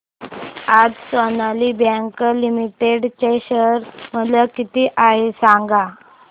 आज Sonali Bank Limited चे share मूल्य किती आहे सांगा